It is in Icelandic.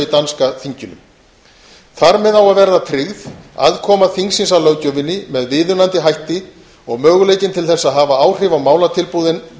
danska þinginu þar með á að vera tryggð aðkoma þingsins að löggjöfinni með viðunandi hætti og möguleikinn til þess að hafa áhrif á málatilbúnaðinn